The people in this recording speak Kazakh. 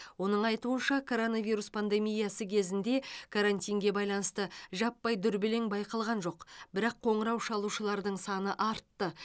оның айтуынша коронавирус пандемиясы кезінде карантинге байланысты жаппай дүрбелең байқалған жоқ бірақ қоңырау шалушылардың саны артты